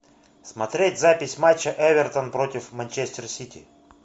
смотреть запись матча эвертон против манчестер сити